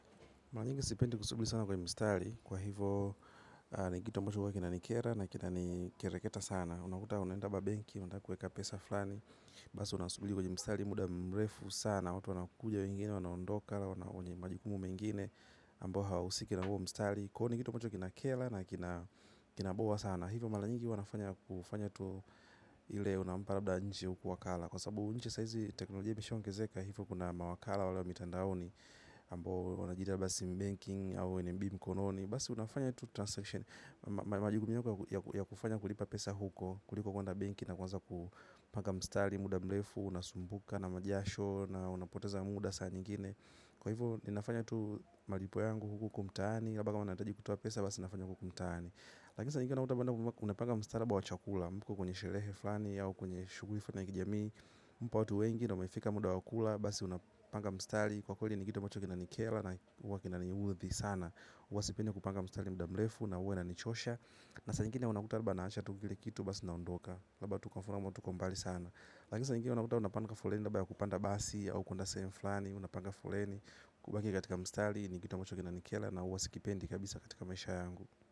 Mara nyingi sipendi kusubili sana kwenye mstari kwa hivyo ni kitu ambacho huwa kina nikera na kina nikereketa sana. Unakuta unaenda kwa benki, unataka kuweka pesa fulani. Basi unasubili kwa mstari muda mrefu sana. Watu wanakuja wengine, wanaondoka, wenye majukumu mengine ambao hawausiki na huo mstari. Kwa hiyo ni kitu ambacho kina kera na kina boa sana. Hivyo mara nyingi huwa nafanya kufanya tu ile unampa labda nje huku wakala. Kwa sababu nchi saizi teknolojia ilishaongezeka hivyo kuna mawakala wale wa mitandaoni. Ambao wanajiita labda sim banking au NMB mkononi basi unafanya tu transaction majukumu yako ya kufanya kulipa pesa huko kuliko kwenda benki na kuanza kupanga mstari muda mrefu, unasumbuka na majasho na unapoteza muda saa nyingine, kwa hivyo ninafanya tu malipo yangu huku huku mtaani labda kama nahitaji kutoa pesa basi nafanya huku huku mtaani lakini saa nyingine unakuta unapanga mstari labda wa chakula mko kwenye sherehe fulani au kwenye shughuli fulani za kijamii watu wengi na umefika muda wa kula basi unapanga mstari kwakweli ni kitu ambacho huwa kinanikera na huwa kinaniudhi sana huwa sipendi kupanga mstari muda mrefu na huwa inanichosha na saa nyingine unakuta labda naacha tu kile kitu basi naondoka labda tu kwa mfano labda tuko mbali sana lakini saa nyingine unakuta unapanga foleni labda ya kupanda basi au kwenda sehemu fulani unapanga foleni kubaki katika mstari ni kitu ambacho kinanikera na huwa sikipendi kabisa katika maisha yangu.